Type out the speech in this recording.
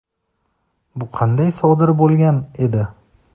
Bu qanday sodir bo‘lgan edi?.